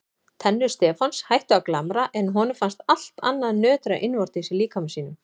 Tennur Stefáns hættu að glamra en honum fannst allt annað nötra innvortis í líkama sínum.